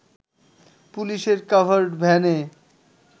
পুলিশের কাডার্ভ ভ্যানে